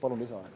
Palun lisaaega.